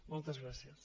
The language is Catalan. moltes gràcies